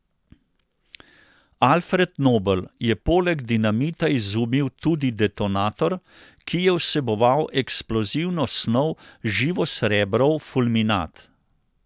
Alfred Nobel je poleg dinamita izumil tudi detonator, ki je vseboval eksplozivno snov živosrebrov fulminat.